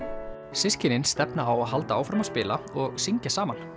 systkinin stefna á að halda áfram að spila og syngja saman